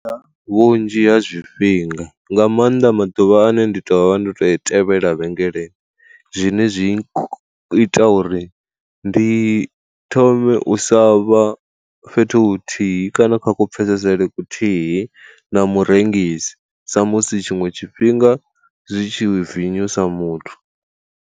Vhunzhi ha zwifhinga nga maanḓa maḓuvha ane ndi tovha ndi to i tevhela vhengeleni, zwine zwi ita uri ndi thome u sa vha fhethu huthihi kana kha ku pfesesele kuthihi na murengisi, sa musi tshinwe tshifhinga zwi tshi vinyusa muthu.